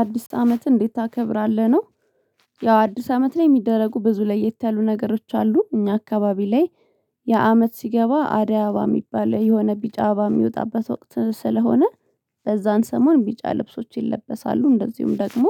አዲስ አመትን እንዴት ታከብራለህ? ነው። ያው አዲስ አመት ላይ የሚደረጉ ብዙ ለየት ያሉ ነገሮች አሉ እኛ አካባቢ ላይ። ያአመት ሲገባ አደይ አበባ የሚባል የሆነ ቢጫ አበባ የሚወጣበት ወቅት ስለሆነ። በዛን ሰሞን ቢጫ ልብሶች ይለበሳሉ እንደዚሁም ደግሞ።